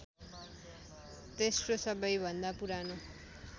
तेस्रो सबैभन्दा पुरानो